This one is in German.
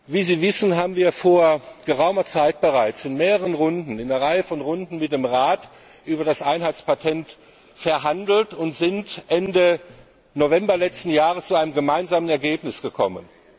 Wie Sie wissen, haben wir vor geraumer Zeit bereits in mehreren Runden mit dem Rat über das Einheitspatent verhandelt und sind Ende November letzten Jahres zu einem gemeinsamen Ergebnis gekommen.